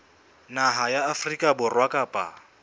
naha ya afrika borwa kapa